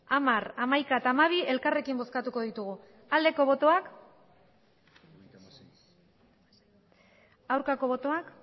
hamar hamaika eta hamabi elkarrekin bozkatuko ditugu aldeko botoak aurkako botoak